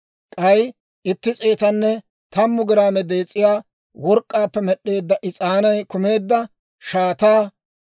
k'ay itti s'eetanne tammu giraame dees'iyaa work'k'aappe med'd'eedda is'aanay kumeedda shaataa;